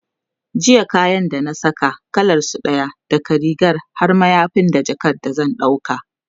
jiya kayan da na Saka, kalansu ɗaya, daga rigar har mayafi da jakan da zan dauka